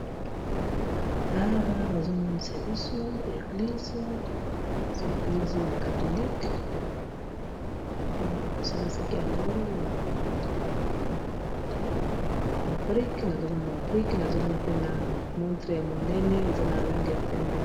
Awa, bazomonisa biso eglize ya katholike. Basalisaki yango naba brike. Nazomona mabrike, nazomona pe na montre ya monene, eza na lange ya pembe.